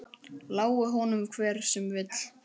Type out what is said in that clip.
Lái honum hver sem vill.